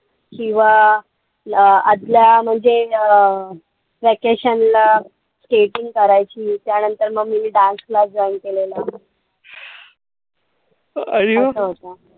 किंवा आदल्या म्हणजे अं vacation ला skating करायची. त्यानंतर मग मी dance class join केलेला. असं असत.